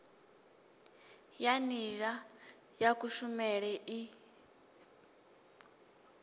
ya nila ya kushumele i